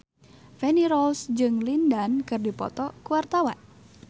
Feni Rose jeung Lin Dan keur dipoto ku wartawan